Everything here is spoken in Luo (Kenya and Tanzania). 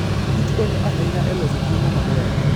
Kich konyo ahinya e loso chiemo maber.